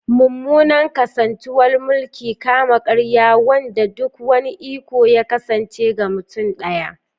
Mummunan kasantuwar mulkin kama-karya, wanda duk wani iko ya kasance ga mutum daya.